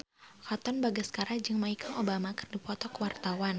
Katon Bagaskara jeung Michelle Obama keur dipoto ku wartawan